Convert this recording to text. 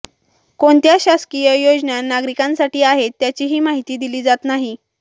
कोणत्या शासकीय योजना नागरिकांसाठी आहेत त्याचीही माहिती दिली जात नाही